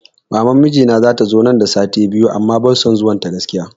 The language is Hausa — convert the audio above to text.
Maman mijina wai zata zo nan da sati biyu amma ban son zuwan ta gaskiya